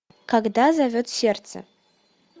когда зовет сердце